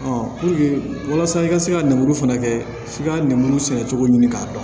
walasa i ka se ka lemuru fana kɛ f'i ka lemuru sɛnɛ cogo ɲini k'a dɔn